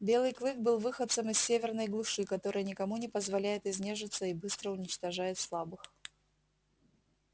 белый клык был выходцем из северной глуши которая никому не позволяет изнежиться и быстро уничтожает слабых